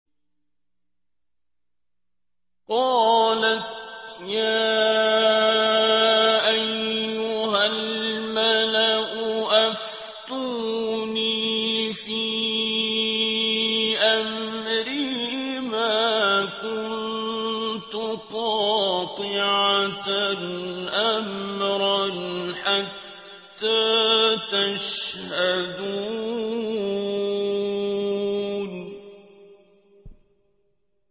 قَالَتْ يَا أَيُّهَا الْمَلَأُ أَفْتُونِي فِي أَمْرِي مَا كُنتُ قَاطِعَةً أَمْرًا حَتَّىٰ تَشْهَدُونِ